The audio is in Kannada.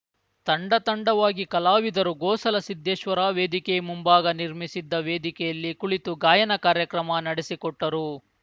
ತಂಡತಂಡವಾಗಿ ಕಲಾವಿದರು ಗೋಸಲ ಸಿದ್ದೇಶ್ವರ ವೇದಿಕೆ ಮುಂಭಾಗ ನಿರ್ಮಿಸಿದ್ದ ವೇದಿಕೆಯಲ್ಲಿ ಕುಳಿತು ಗಾಯನ ಕಾರ್ಯಕ್ರಮ ನಡೆಸಿಕೊಟ್ಟರು